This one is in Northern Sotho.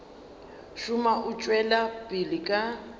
šoma o tšwela pele ka